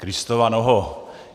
Kristova noho!